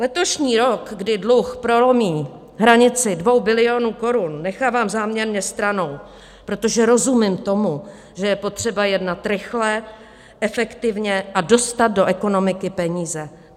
Letošní rok, kdy dluh prolomí hranici 2 bilionů korun, nechávám záměrně stranou, protože rozumím tomu, že je potřeba jednat rychle, efektivně a dostat do ekonomiky peníze.